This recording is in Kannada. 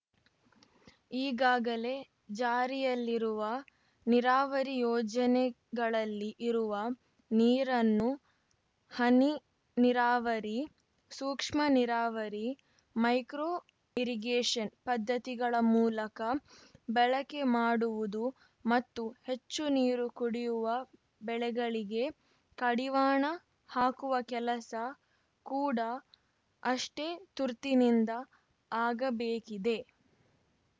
ಈಗಾಗಲೇ ಜಾರಿಯಲ್ಲಿರುವ ನೀರವರಿ ಯೋಜನೆಗಳಲ್ಲಿ ಇರುವ ನೀರನ್ನು ಹನಿ ನೀರಾವರಿ ಸೂಕ್ಷ್ಮ ನೀರಾವರಿ ಮೈಕ್ರೋ ಇರಿಗೇಶನ್‌ ಪದ್ಧತಿಗಳ ಮೂಲಕ ಬಳಕೆ ಮಾಡುವುದು ಮತ್ತು ಹೆಚ್ಚು ನೀರು ಕುಡಿಯುವ ಬೆಳೆಗಳಿಗೆ ಕಡಿವಾಣ ಹಾಕುವ ಕೆಲಸ ಕೂಡ ಅಷ್ಟೇ ತುರ್ತಿನಿಂದ ಆಗಬೇಕಿದೆ